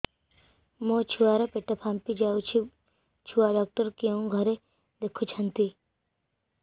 ମୋ ଛୁଆ ର ପେଟ ଫାମ୍ପି ଯାଉଛି ଛୁଆ ଡକ୍ଟର କେଉଁ ଘରେ ଦେଖୁ ଛନ୍ତି